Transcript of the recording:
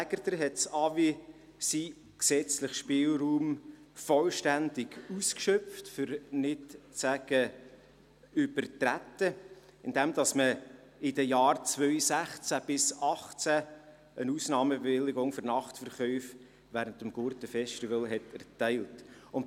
Aegerter hat das AWI seinen gesetzlichen Spielraum vollständig ausgeschöpft, um nicht zu sagen übertreten, indem man in den Jahren 2016–2018 eine Ausnahmebewilligung für Nachtverkäufe während des Gurtenfestivals erteilt hat.